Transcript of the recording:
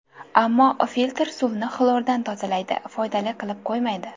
Ammo filtr suvni xlordan tozalaydi, foydali qilib qo‘ymaydi.